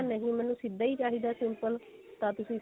ਨਹੀਂ ਮੈਨੂੰ ਸਿੱਧਾ ਹੀ ਚਾਹੀਦਾ simple ਤਾਂ ਤੁਸੀਂ